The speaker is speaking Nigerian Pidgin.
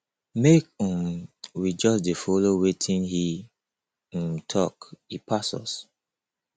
make um we just dey follow wetin he um talk he pass us